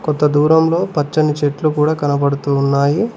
కొంత దూరంలో పచ్చని చెట్లు కూడా కనబడుతున్నాయి.